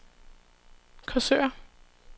Korsør